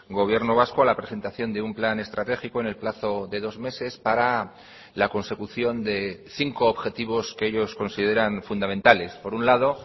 gobierno vasco a la presentación de un plan estratégico en el plazo de dos meses para la consecución de cinco objetivos que ellos consideran fundamentales por un lado